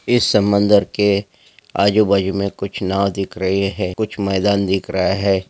इस समुन्दर के आजु बाजु में कुछ नाव दिख रहे है कुछ मैदान दिख रहा है।